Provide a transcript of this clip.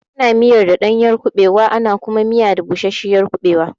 Ana miyar ɗanyar kuɓewa ana kuma miya da bushashiyar kuɓewa.